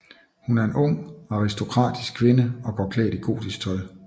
Hun er en ung aristokratisk kvinde og går klædt i gotisk tøj